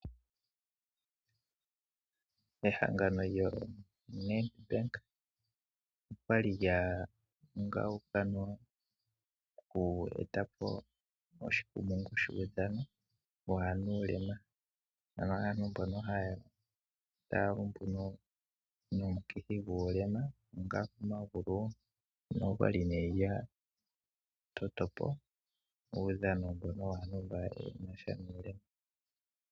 Ehangano lyoNEDBANK okwali lya ungaunga noku eta po oshikumungu shuudhano waanuulema, ano waantu mbono taa lumbu nomukithi ngu guulema womagulu ano okwali nee yatoto po uudhano mbono waantu mbo yenasha nuulema.